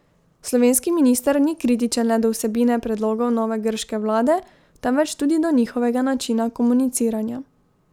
Slovenski minister ni kritičen le do vsebine predlogov nove grške vlade, temveč tudi do njihovega načina komuniciranja.